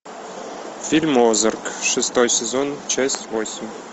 фильм озарк шестой сезон часть восемь